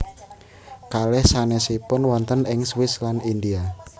Kalih sanèsipun wonten ing Swiss lan India